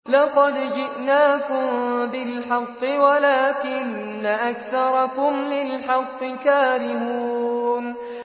لَقَدْ جِئْنَاكُم بِالْحَقِّ وَلَٰكِنَّ أَكْثَرَكُمْ لِلْحَقِّ كَارِهُونَ